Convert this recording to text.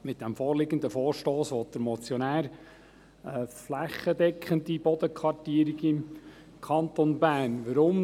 Mit diesem vorliegenden Vorstoss möchte der Motionär eine flächendeckende Bodenkartierung im Kanton Bern erreichen.